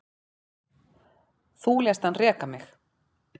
Þú lést hann reka mig